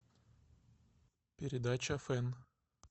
передача фэн